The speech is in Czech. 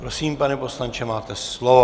Prosím, pane poslanče, máte slovo.